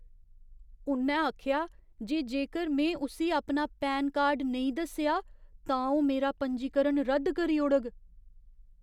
उ'न्नै आखेआ जे जेकर में उस्सी अपना पैन कार्ड नेईं दस्सेआ, तां ओह् मेरा पंजीकरण रद्द करी ओड़ग।